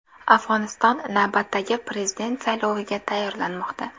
Afg‘oniston navbatdagi prezident sayloviga tayyorlanmoqda.